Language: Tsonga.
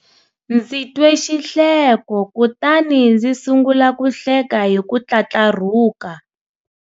ndzi twe xihleko kutani ndzi sungula ku hleka hi ku tlatlarhuka.